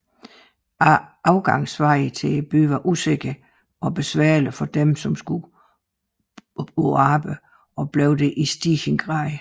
Adgangsvejene til byen var usikre og besværlige for dem som skulle på arbejde og blev det i stigende grad